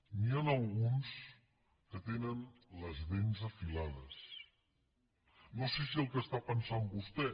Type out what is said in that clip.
n’hi han alguns que tenen les dents afilades no sé si el que està pensant vostè